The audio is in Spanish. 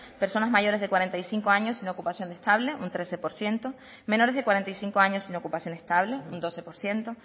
personas mayores de cuarenta y cinco años sin ocupación estable un trece por ciento menores de cuarenta y cinco años sin ocupación estable un doce por ciento